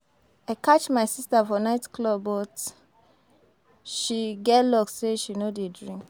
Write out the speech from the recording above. I catch my sister for night club but she get luck say she no dey drink